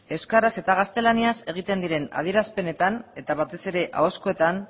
euskaraz eta gaztelaniaz egiten diren adierazpenetan eta batez ere ahozkoetan